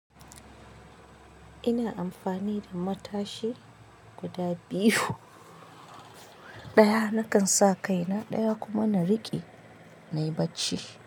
Ina amfani da matashi guda biyu. Ɗaya nakan sa kaina ɗaya kuma na riƙe na yi bacci.